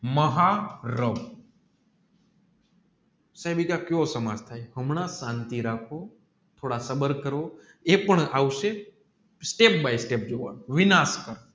મહારાવ કિયો સમાજ થાય હામ કૅનથી રાખો કરો એ પણ આવસે step by step જોવાનું